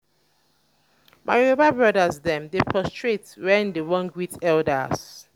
my yoruba brodas dem dey prostrate wen dey wan greet elders.